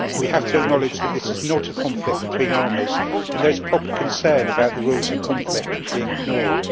We have to acknowledge that this is not a conflict between armies, and there is proper concern about the rules of conflict being ignored.